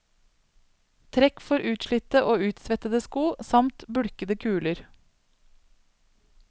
Trekk for utslitte og utsvettede sko, samt bulkete kuler.